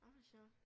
Ej hvor sjovt